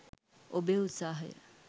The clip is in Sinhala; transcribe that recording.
ඔබේ උත්සාහය